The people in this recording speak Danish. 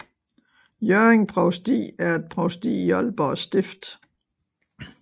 Hjørring Provsti var et provsti i Aalborg Stift